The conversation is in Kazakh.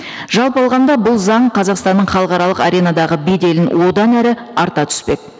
жалпы алғанда бұл заң қазақстанның халықаралық аренадағы беделін одан әрі арта түспек